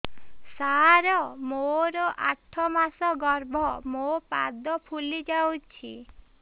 ସାର ମୋର ଆଠ ମାସ ଗର୍ଭ ମୋ ପାଦ ଫୁଲିଯାଉଛି